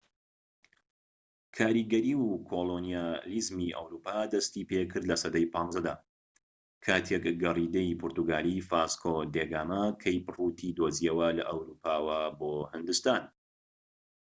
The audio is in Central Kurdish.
کاریگەری و کۆڵۆنیالیزمی ئەوروپا دەستی پێکرد لە سەدەی ١٥دا، کاتێك گەڕیدەی پورتوگالی ڤاسکۆ دی گاما کەیپ ڕوتی دۆزیەوە لە ئەوروپاوە بۆ هیندستان